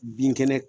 Bin kɛnɛ